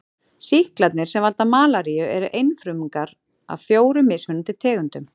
Sýklarnir sem valda malaríu eru einfrumungar af fjórum mismunandi tegundum.